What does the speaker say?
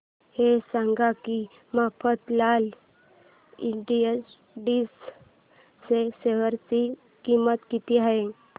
हे सांगा की मफतलाल इंडस्ट्रीज च्या शेअर ची किंमत किती आहे